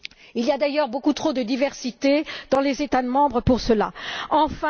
Il y a d'ailleurs beaucoup trop de diversité dans les États membres à cet égard.